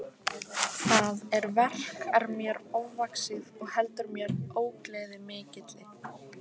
Það verk er mér ofvaxið og veldur mér ógleði mikilli.